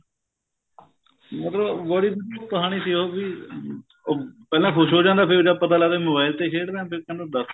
ਮਤਲਬ ਬੜੀ ਕਹਾਣੀ ਸੀ ਉਹ ਵੀ ਉਹ ਪਹਿਲਾਂ ਖੁਸ ਹੋ ਜਾਂਦਾ ਫੇਰ ਜਦ ਪਤਾ ਲੱਗਦਾ mobile ਤੇ ਖੇਡ ਰਹੇ ਏ ਫੇਰ ਤੁਹਾਨੂੰ ਦੱਸ